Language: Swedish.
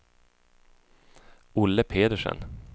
Olle Pedersen